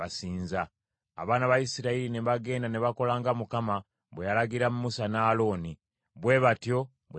Abaana ba Isirayiri ne bagenda ne bakola nga Mukama bwe yalagira Musa ne Alooni, bwe batyo bwe baakola.